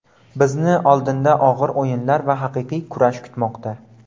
Bizni oldinda og‘ir o‘yinlar va haqiqiy kurash kutmoqda.